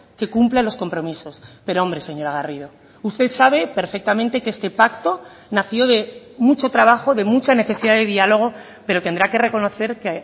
que cumpla los compromisos pero hombre señora garrido usted sabe perfectamente que este pacto nació de mucho trabajo de mucha necesidad de diálogo pero tendrá que reconocer que